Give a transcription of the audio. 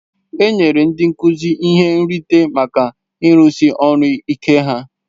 E nyere ndị nkuzi ihe nrite maka ịrụsi ọrụ ike ha.